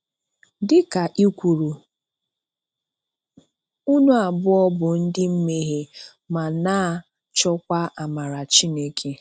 Dị ka i kwuru,"ụnụ abụọ bụ ndị mmehie ma na-achọkwa amara Chineke".